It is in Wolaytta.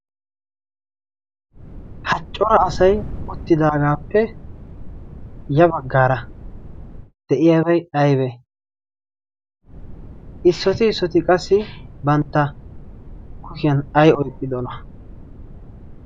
haccora asay uttidaagaappe ya baggaara de'iyaabay aybee issoyti issooti qassi bantta kushiyan ay oyxxidona?